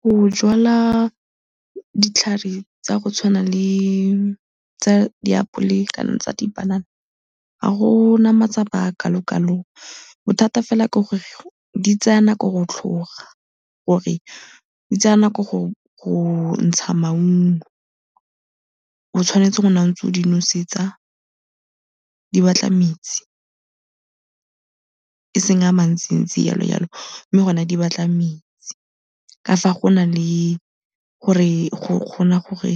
Go jwala ditlhare tsa go tshwana le tsa diapole kana tsa dipanana ga go na matsapa a a kalokalo, bothata fela ke gore di tsaya nako go tlhoga, gore di tsaya nako go ntsha maungo. O tshwanetse go nna o ntse o di nosetsa, di batla metsi eseng a mantsintsi jalojalo mme gone di batla metsi. Ka fa go na le gore go kgona gore